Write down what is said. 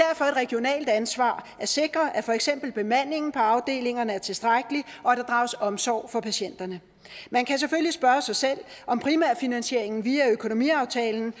regionalt ansvar at sikre at for eksempel bemandingen på afdelingerne er tilstrækkelig og at der drages omsorg for patienterne man kan selvfølgelig spørge sig selv om primært finansieringen via økonomiaftalen